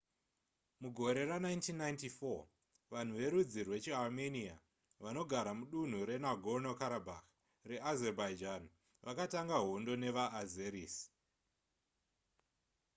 mugore ra1994 vanhu verudzi rwechiarmenia vanogara mudunhu renagorno-karabakh reazerbaijan vakatanga hondo nevaazeris